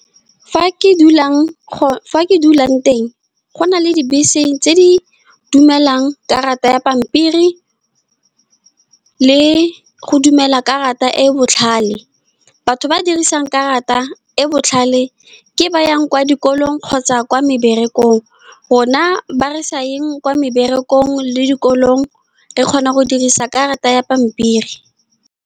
Fa ke dulang, go fa ke dulang teng, go na le dibese tse di dumelang karata ya pampiri le go dumela karata e e botlhale. Batho ba ba dirisang karata e e botlhale ke ba ba yang kwa dikolong kgotsa kwa meberekong. Rona ba re sa yeng kwa meberekong le dikolong, re kgona go dirisa karata ya pampiri.